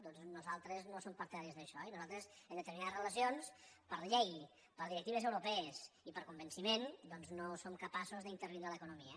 doncs nosaltres no som partidaris d’això i nosaltres en determinades relacions per llei per directives europees i per convenciment doncs no som capaços d’intervindre l’economia